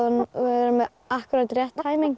með akkúrat rétt